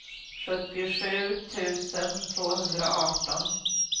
sjuttiosju tusen tvåhundraarton